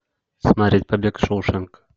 смотреть побег из шоушенка